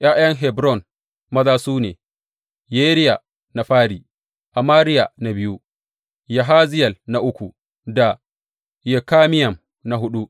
’Ya’yan Hebron maza su ne, Yeriya na fari, Amariya na biyu, Yahaziyel na uku da Yekameyam na huɗu.